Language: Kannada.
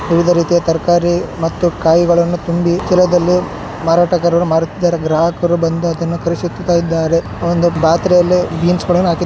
ವಿವಿಧ ರೀತಿಯ ತರಕಾರಿ ಮತ್ತು ಕಾಯಿಗಳನ್ನು ತುಂಬಿ ಚೀಲದಲ್ಲಿ ಮಾರಾಟಗಾರರು ಮಾರುತ್ತಿದ್ದಾರೆ. ಗ್ರಾಹಕರು ಬಂದು ಅದನ್ನ ಖರೀದಿಸುತ್ತಿದ್ದಾರೆ. ಒಂದು ಪಾತ್ರೆಯಲ್ಲಿ ಬೀನ್ಸ್ --